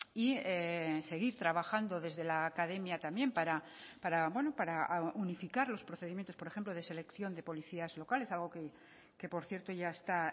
y seguir trabajando desde la academia también para unificar los procedimientos por ejemplo de selección de policías locales algo que por cierto ya está